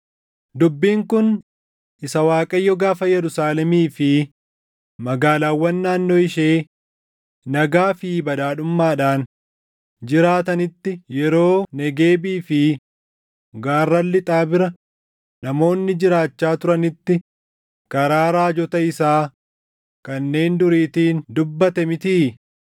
Dubbiin kun isa Waaqayyo gaafa Yerusaalemii fi magaalaawwan naannoo ishee nagaa fi badhaadhummaadhaan jiraatanitti, yeroo Negeebii fi gaarran lixaa bira namoonni jiraachaa turanitti karaa raajota isaa kanneen duriitiin dubbate mitii?’ ”